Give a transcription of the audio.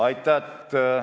Aitäh!